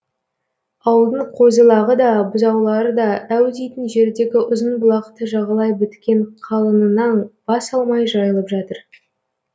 ауылдың қозы лағы да бұзаулары да әу дейтін жердегі ұзынбұлақты жағалай біткен қалыңынан бас алмай жайылып жатыр